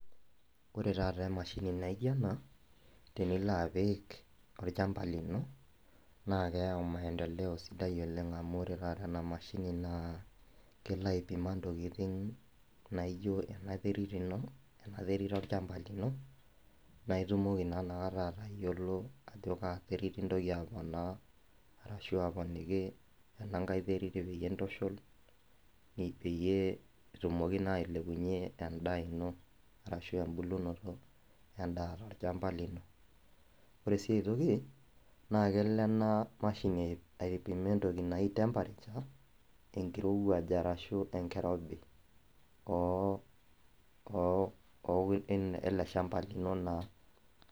Ore taata emashini naijo ena tenilo apik olchamba lino naa keyau maendeleo sidai oleng amu ore taata ena mashini naa kelo aipima intokiting naijo ena terit ino ena terit olchamba lino naa itumoki naa inakata atayiolo ajo kaa terit intoki aponaa arashu aponiki enankae terit peyie intushul ni peyie etumoki naa ailepunyie endaa ino arashu embulunoto endaa tolchamba lino ore sii ae toki naa kelo ena mashini aipima entoki naji temperature enkirowuaj arashu enkirobi oh ele shamba lino naa ore taata.